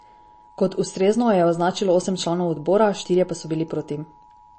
Kot ustrezno jo je označilo osem članov odbora, štirje pa so bili proti.